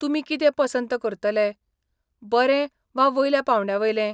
तुमी कितें पसंत करतले, बरें वा वयल्या पांवड्यावयलें?